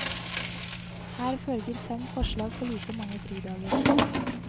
Her følger fem forslag for like mange fridager.